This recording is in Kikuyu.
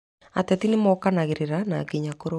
Ateti nĩmokanagĩrĩra na nginya kũrũa